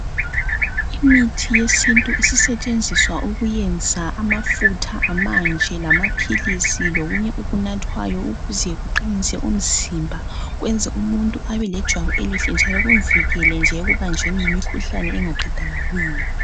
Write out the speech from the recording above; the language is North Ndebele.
Imithi yesintu isisetshenziswa ukuyenza amafutha amanje lamaphilisi lokunye okunathwayo ukuze kuqinise umzimba, kwenze umuntu abe lejwabu elihle njalo kumvikele nje ekubanjweni yimikhuhlane engaqedakaliyo.